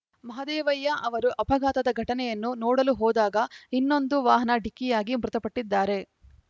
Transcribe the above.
ಮಹದೇವಯ್ಯ ಅವರು ಅಪಘಾತದ ಘಟನೆಯನ್ನು ನೋಡಲು ಹೋದಾಗ ಇನ್ನೊಂದು ವಾಹನ ಡಿಕ್ಕಿಯಾಗಿ ಮೃತಪಟ್ಟಿದ್ದಾರೆ